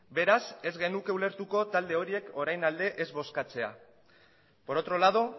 beraz ez genuke ulertuko talde horiek orain alde ez bozkatzea por otro lado